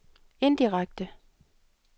indirekte